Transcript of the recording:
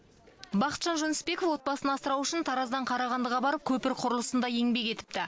бақытжан жүнісбеков отбасын асырау үшін тараздан қарағандыға барып көпір құрылысында еңбек етіпті